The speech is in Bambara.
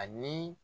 Ani